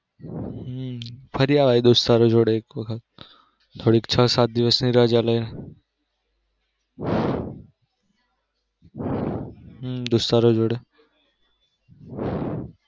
હમ ફરી અવાય એક વખત થોડી છ સાત દિવસ ની રજા લઈ ને હમ દોસ્તારો જોડે.